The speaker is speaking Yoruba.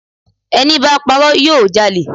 Ẹníbá parọ́ yóò jalè